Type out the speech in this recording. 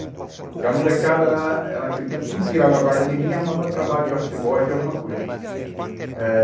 Porque a molecada, era naquele tempo, tudo virava guarda mirim e arrumava trabalho de office boy de alguma coisa. Eh